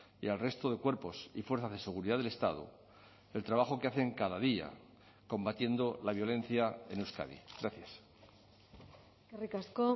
y al resto de cuerpos y fuerzas de seguridad del estado el trabajo que hacen cada día combatiendo la violencia en euskadi gracias eskerrik asko